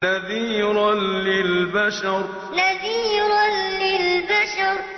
نَذِيرًا لِّلْبَشَرِ نَذِيرًا لِّلْبَشَرِ